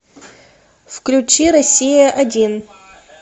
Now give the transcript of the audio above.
включи россия один